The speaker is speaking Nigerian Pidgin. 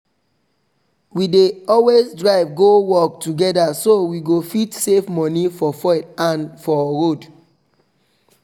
we dey always drive go work together so we go fit save money for fuel and for road